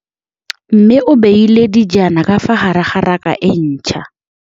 Mmê o beile dijana ka fa gare ga raka e ntšha.